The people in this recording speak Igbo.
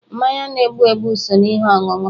Mmanya na-egbu egbu so n'ihe ọṅụṅụ